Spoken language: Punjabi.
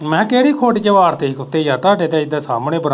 ਮੈਂ ਕਿਹਾ ਕਿਹੜੀ ਖੁੱਡ ਚ ਵਾੜਤੇ ਹੀ ਕੁੱਤੇ, ਯਾਰ ਤੁਹਾਡੇ ਤਾਂ ਇੱਦਰ ਸਾਮਣੇ ਬਰਾਂ।